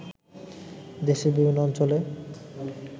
দেশের বিভিন্ন অঞ্চলে